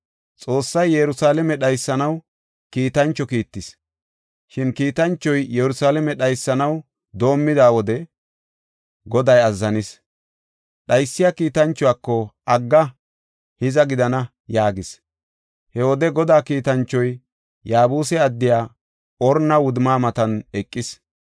Xoossay Yerusalaame dhaysanaw kiitancho kiittis. Shin kiitanchoy Yerusalaame dhaysanaw doomida wode Goday azzanis. Dhaysiya kiitanchuwako, “Agga! Hiza gidana!” yaagis. He wode Godaa kiitanchoy Yaabuse addiya Orna wudumma matan eqis.